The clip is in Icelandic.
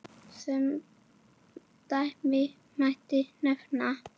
Sem dæmi mætti nefna